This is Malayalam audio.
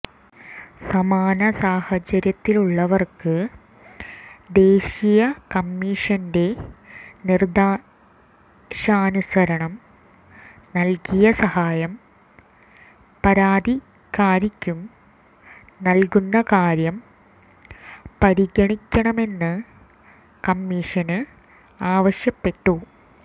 സമാനസാഹചര്യത്തിലുള്ളവര്ക്ക് ദേശീയ കമ്മിഷന്റെ നിര്ദേശാനുസരണം നല്കിയ സഹായം പരാതിക്കാരിക്കും നല്കുന്ന കാര്യം പരിഗണിക്കണമെന്ന് കമ്മിഷന് ആവശ്യപ്പെട്ടു